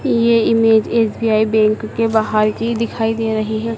ये image S B I bank के बाहर की दिखाई दे रही है।